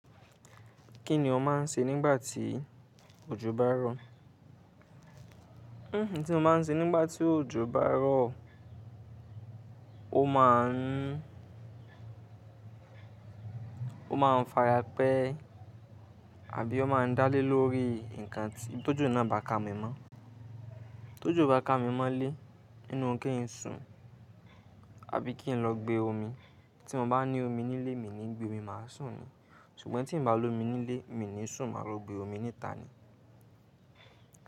Kí ni ọ máa ń ṣe nígbà tí òjò bá rọ̀? N tí mo máa ń ṣe nígbà tí òjò bá rọ̀, ó máa ń, ó máa ń fara pẹ́ àbí ó máa ń dálé lórí nǹkan tí tó jọ náà bá ka mi mọ́. Tójo bá ka mi mọ́lé nínú kí n sùn àbí kí n lọ gbe omi. Tí mo bá ní omi nílé mi ni gbe omi, máa sùn ni. Ṣùgbọ́n tí n ba lómi nílé mi ni sùn, máa lọ gbe omi níta ni.